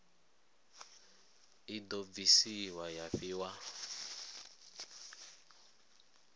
i do bvisiwa ya fhiwa